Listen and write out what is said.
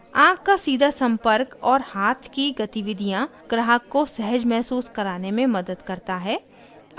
आँख का सीधा संपर्क और हाथ की गतिविधियाँ ग्राहक को सहज महसूस कराने में मदद करता है